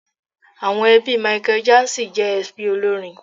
Àwọn ẹbí Michael Jackson jẹ́ ẹbí olórin.